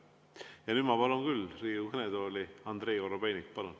Ja nüüd ma palun küll Riigikogu kõnetooli Andrei Korobeiniku.